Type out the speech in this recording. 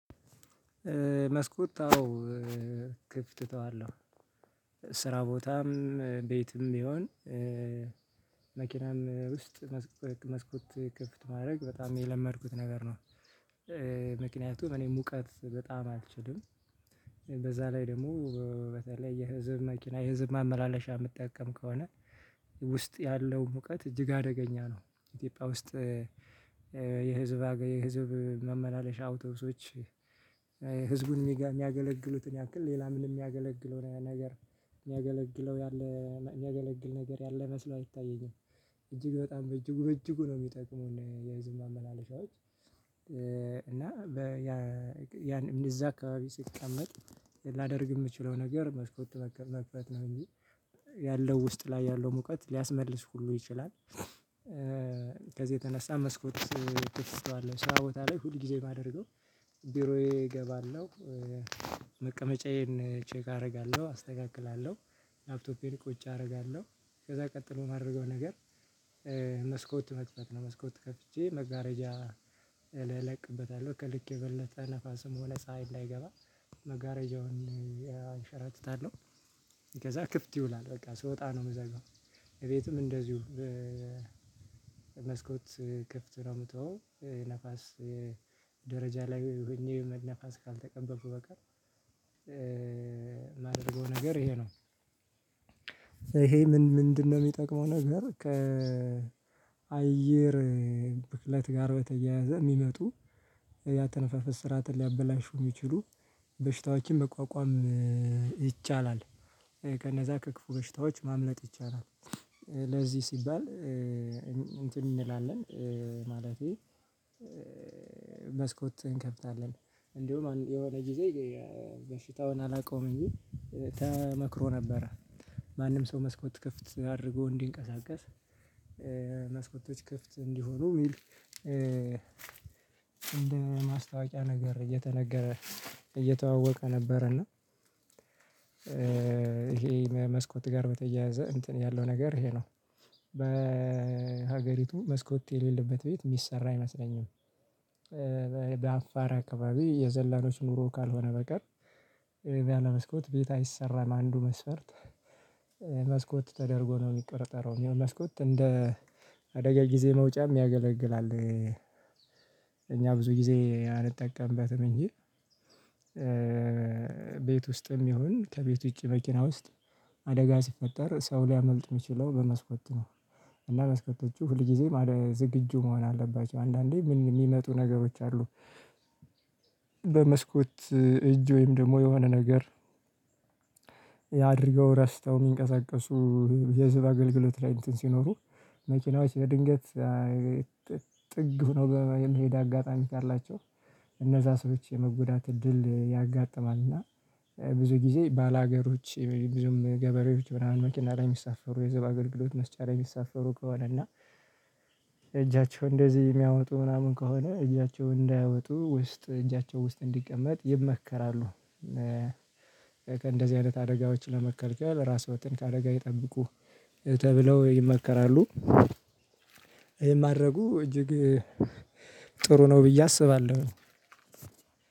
መስኮት አዎ ክፍት ትተዋለህ ስራ ቦታም ቤትም ይሁን ቢሆን መኪናም ውስጥ መስኮት ክፍት ማድረግ በጣም የለመድኩት ነገር ነው። ምክንያቱም እኔ ሙቀት በጣም አልችልም በዛ ላይ ደግሞ በተለይ የህዝብ መኪና የህዝብ ማመላለሻ የምጠቀም ከሆነ ውስጥ ያለው ሙቀት እጅግ አደገኛ ነው። ኢትዮጵያ ውስጥ የህዝብ መመላለሻ አውቶብሶች ህዝቡን የሚያገለግሉትን ያክል ሌላ ምንም የሚያገለግለው ነገር የሚያገለግለው ያለ የሚያገለግል ነገር ያለ መስሎ አይታየኝም። እጅግ በጣም በእጅጉ በእጅጉ ነው የሚጠቅሙን የህዝብ ማመላለሻዎች። እና ያን እዛ አካባቢ ስቀመጥ ላደርግ የምችለው ነገር መሽኮት መክፈት ነው እንጂ ያለው ውስጥ ላይ ያለው ሙቀት ሊያስመልስ ሁሉ ይችላል። ከዚህ የተነሳ መስኮት ውስጥ ተስተዋለሁ ሰዓት ቦታ ላይ ሁል ጊዜ የማደርገው ቢሮዬ እገባለሁ። መቀመጫዬን ቼክ አደርጋለሁ አስተካክላለሁ ላፕቶፔን ቁጭ አደርጋለሁ ከዛ ቀጥሎ የማደርገው ነገር። መስኮት መጽሐፍ ነው መስኮት ከፍቼ መጋረጃ እለቅበታለሁ ከልክ የበለጠ ነፋስም ሆነ ፀሀይ ላይገባ መጋረጃውን አንሸራጥታለሁ። ከዛ ክፍት ይውላል በቃ ስወጣ ነው የምዘጋው። ቤትም እንደዚሁ መስኮት ክፍት ነው የምትወው ንፋስ ደረጃ ላይ ወይኔ መንፋስ ካልተቀበቡ በቀር የማደርገው ነገር ይሄ ነው። ይሄ ምን ምንድነው የሚጠቅመው ነገር ከአየር ብክለት ጋር በተያያዘ የሚመጡ ያተነፈፈ ስራትን ሊያበላሹ የሚችሉ በሽታዋቂን መቋቋም ይቻላል። ከነዛ ከክፉ ገሽታዎች ማምለጥ ይቻላል። ለዚህ ሲባል እንትን እንላለን ማለቴ መስኮት እንከፍታለን እንዲሁ የሆነ ጊዜ በሽታውን አላቆመም እንጂ ተመክሮ ነበረ። ማንም ሰው መስኮት ክፍት አድርጎ እንዲንቀሳቀስ መስኮቶች ክፍት እንዲሆኑ የሚል እንደ ማስታወቂያ ነገር እየተነገረ እየተዋወቀ ነበር እና። ይሄ መስኮት ጋር በተያያዘ እንትን ያለው ነገር ይሄ ነው በሀገሪቱ መስኮት የሌለበት ቤት የሚሰራ አይመስለኝም። በአፋር አካባቢ የዘላኖች ኑሮ ካልሆነ በቀር የሚያለ መስኮት ቤት አይሰራም አንዱ መስፈርት መስኮት ተደርጎ ነው የሚቀረጠረው መስኮት እንደ አደጋ ጊዜ መውጫም ያገለግላል። እኛ ብዙ ጊዜ አንጠቀምበትም እንጂ ቤት ውስጥም ይሁን ከቤት ውጪ መኪና ውስጥ አደጋ ሲፈጠር ሰው ሊያመልጥ የሚችለው በመስኮት ነው እና መስኮቶቹ ሁልጊዜም አለ ዝግጁ መሆን አለባቸው አንዳንዴ የሚመጡ ነገሮች አሉ። በመስኮት እጅ ወይም ደግሞ የሆነ ነገር አድርገው ረስተው የሚንቀሳቀሱ የህዝብ አገልግሎት ላይ እንትን ሲኖሩ መኪናዎች ለድንገት ጥግ ሆኖ ሄዳ አጋጣሚ ካላቸው እነዛ ሰዎች የመጎዳት እድል ያጋጥማል። እና ብዙ ጊዜ ባላገሮች ብዙም ገበሬዎች ምናምን መኪና ላይ የሚሳፈሩ የህዝብ አገልግሎት መስጫ ላይ የሚሳፈሩ ከሆነ እና እጃቸው እንደዚህ የሚያወጡ ምናምን ከሆነ እጃቸው እንዳያወጡ ውስጥ እጃቸው ውስጥ እንዲቀመጥ ይመከራሉ። ከእንደዚህ አይነት አደጋዎች ለመከልከል ራስወትን ከአደጋ ይጠብቁ ተብለው ይመከራሉ። ይሄ ማድረጉ እጅግ ጥሩ ነው ብዬ አስባለሁ።